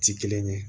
Ti kelen ye